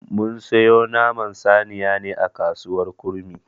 Mun siyo Naman saniyan ne a kasuwar kurmi.